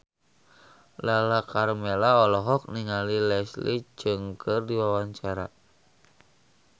Lala Karmela olohok ningali Leslie Cheung keur diwawancara